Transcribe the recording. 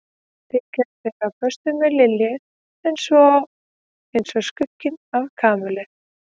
Þykist vera á föstu með Lilju en er svo eins og skugginn af Kamillu.